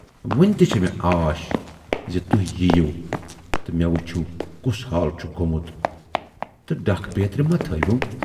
وُنہِ تہِ چھے مےٚ آش زِ تُہۍ یِیِو تہٕ مے وُچھِو کُس حال چھُ گومُت تہٕ ڈَکھ بیترِ ما تھٲیۍیوٗم۔